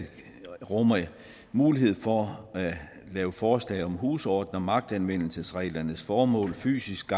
rummer mulighed for at lave forslag om husordener magtanvendelsesreglernes formål fysisk